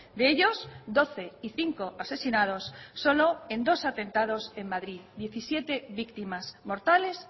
de ellos doce y cinco asesinados solo en dos atentados en madrid diecisiete víctimas mortales